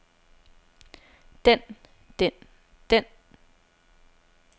den den den